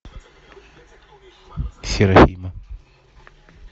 серафима